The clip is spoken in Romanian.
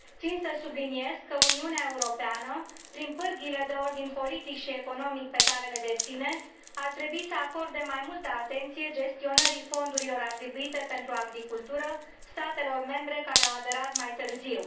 Țin să subliniez că Uniunea Europeană, prin pârghiile de ordin politic și economic pe care le deține, ar trebui să acorde mai multă atenție gestionării fondurilor atribuite pentru agricultură statelor membre care au aderat mai târziu.